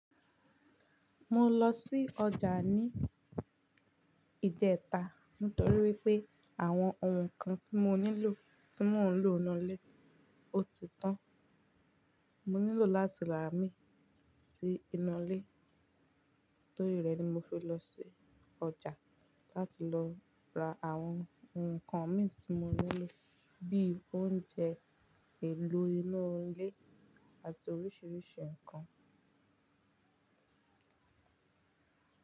Mo lọ sí ọjà ní ìjẹta nítorí wípé àwọn ǹkan tí mo nílò tí mò ń lò n nu lé ó ti tán. Mo nílò láti rà á mí sí inú ilé. Nítorí rẹ̀ ni mo fi lọ sí ọjà láti lọ ra àwọn ǹkan mi tí mo nílò bí i oúnjẹ, èlò inú ilé àti oríṣiríṣi ǹkan.